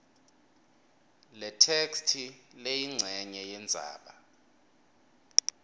letheksthi leyincenye yendzaba